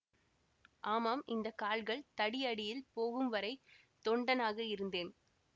ஆமாம் இந்த கால்கள் தடியடியில் போகும்வரை தொண்டனாக இருந்தேன்